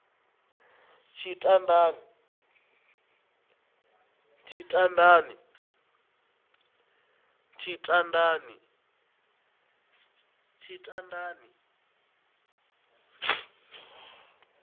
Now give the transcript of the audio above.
tshitandani